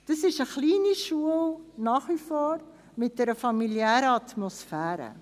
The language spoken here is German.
Es ist nach wie vor eine kleine Schule mit einer familiären Atmosphäre.